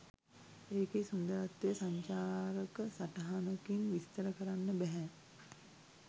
එකේ සුන්දරත්වය සංචාරක සටහනකින් විස්තර කරන්න බැහැ